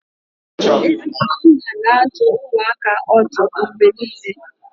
Ezigbo nna na-adụ ụmụaka ọdụ mgbe niile